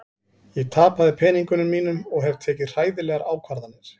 Ég tapaði peningunum mínum og hef tekið hræðilegar ákvarðanir.